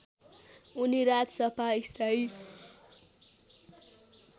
उनी राजसभा स्थायी